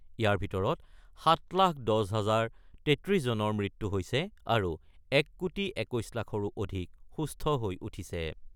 ইয়াৰ ভিতৰত ৭ লাখ ১০ হাজাৰ ৩৩ জনৰ মৃত্যু হৈছে আৰু ১ কোটি ২১ লাখৰো অধিক সুস্থ হৈ উঠিছে।